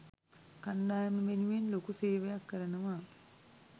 කණ්ඩායම වෙනුවෙන් ලොකු සේවයක් කරනවා.